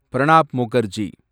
Pranab Mukherjee